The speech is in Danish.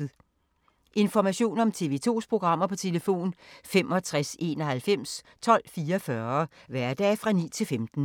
Information om TV 2's programmer: 65 91 12 44, hverdage 9-15.